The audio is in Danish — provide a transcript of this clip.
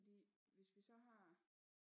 Fordi hvis vi så har